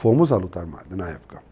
Fomos à luta armada na época.